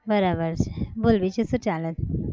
બરાબર છે. બોલ બીજું શું ચાલે છ?